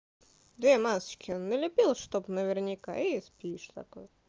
две масочки налепила чтобы наверняка и спишь зато